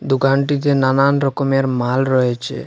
দোকানটিতে নানান রকমের মাল রয়েছে।